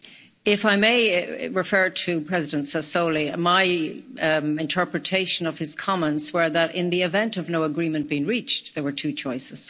If I may refer to President Sassoli, my interpretation of his comments was that, in the event of no agreement being reached, there were two choices.